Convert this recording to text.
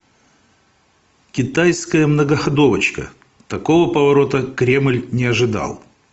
китайская многоходовочка такого поворота кремль не ожидал